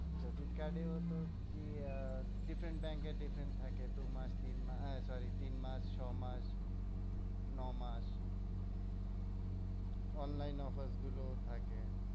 Credit card এও তো কি আহ different ব্যাঙ্ক এর different থাকে। দু মাস তিন মাস আহ sorry তিন মাস ছ মাস ন মাস। online offer গুলোও থাকে।